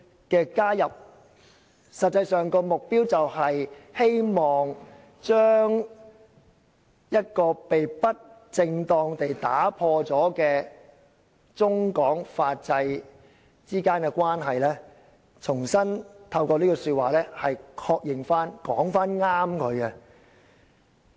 "加入這句的實際目標，是希望將一段被不正當地破壞的中港法制之間的關係，重新透過這句話獲得確認及正確表達。